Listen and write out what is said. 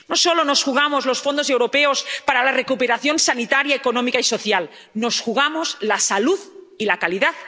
No solo nos jugamos los fondos europeos para la recuperación sanitaria, económica y social. Nos jugamos la salud y la calidad de la democracia.